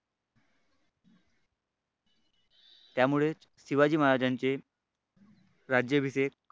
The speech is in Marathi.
त्यामुळेच शिवाजी महाराजांचे राज्याभिषेक